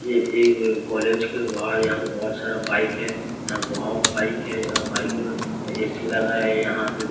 ये एक कॉलेज के बाहर यहां पे बहोत सारा बाइक है यहां बहोत बाइक है और बाइक ऐ_सी लगा है यहां पे--